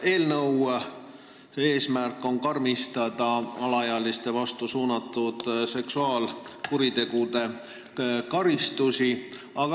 Eelnõu eesmärk on karmistada alaealiste vastu suunatud seksuaalkuritegude karistusi.